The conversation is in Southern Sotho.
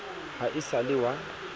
ha e sa le wa